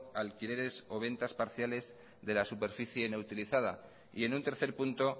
alquileres o ventas parciales de la superficie inutilizada y en un tercer punto